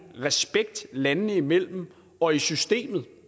respekt landene imellem og i systemet